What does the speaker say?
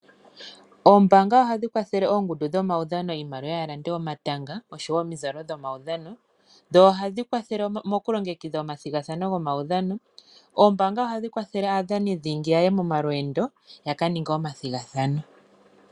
Ombaanga ohadhi kwathele oongundu dhomaudhano iimaliwa ya lande omatanga nosho woo omizalo. Ohadhi kwathele woo mokulongekidha omathigathano gomaudhano. Ohadhi kwathele woo aadhani dhingi ya ye momalweendo ya ka ninge omathigathano.